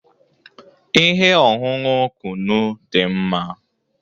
Ihe ọṅụṅụ kunu dị mma